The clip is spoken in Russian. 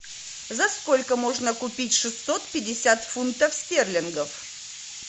за сколько можно купить шестьсот пятьдесят фунтов стерлингов